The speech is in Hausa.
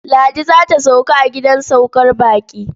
Ladi za ta sauka a gidan saukar baƙi.